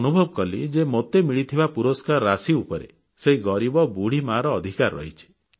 ମୁଁ ଅନୁଭବ କଲି ଯେ ମୋତେ ମିଳିଥିବା ପୁରସ୍କାର ରାଶି ଉପରେ ସେହି ଗରିବ ବୁଢ଼ୀ ମାର ଅଧିକାର ରହିଛି